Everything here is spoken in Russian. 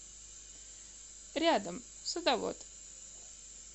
рядом садовод